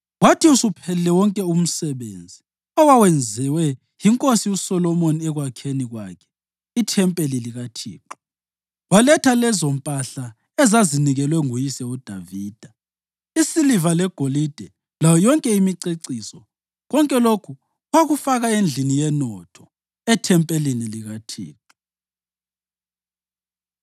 Kwathi usuphelile wonke umsebenzi owawenziwe yinkosi uSolomoni ekwakheni kwakhe ithempeli likaThixo, waletha lezompahla ezazinikelwe nguyise uDavida, isiliva legolide layo yonke imiceciso, konke lokhu wakufaka endlini yenotho ethempelini likaThixo.